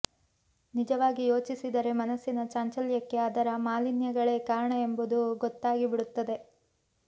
ನಿಜವಾಗಿ ಯೋಚಿಸಿದರೆ ಮನಸ್ಸಿನ ಚಾಂಚಲ್ಯಕ್ಕೆ ಅದರ ಮಾಲಿನ್ಯಗಳೇ ಕಾರಣ ಎಂಬುದು ಗೊತ್ತಾಗಿ ಬಿಡುತ್ತದೆ